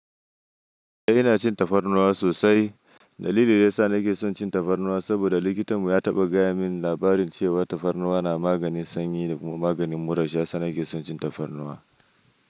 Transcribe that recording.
Eh ina cin tafarnuwa sosai. Dalilin da yasa nake son cin tafarnuwa saboda likitan mu ya taɓa gaya min labarin cewa tafarnuwa na maganin sanyi da kuma maganin muras. Shi yasa nake son cin tafarnuwa.